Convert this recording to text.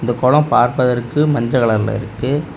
இந்த குளம் பார்ப்பதற்கு மஞ்சள் கலர்ல இருக்கு.